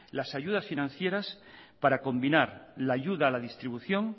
las ayudas financieras para combinar la ayuda a la distribución